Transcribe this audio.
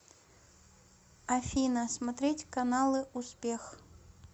афина смотреть каналы успех